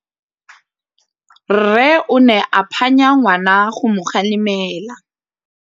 Rre o ne a phanya ngwana go mo galemela.